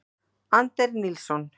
Anders Nilsson.